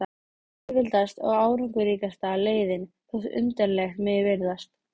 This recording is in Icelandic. Það er auðveldasta og árangursríkasta leiðin, þótt undarlegt megi virðast.